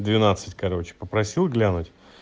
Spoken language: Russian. в двенадцать короче попросил глянуть